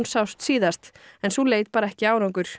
sást síðast en sú leit bar ekki árangur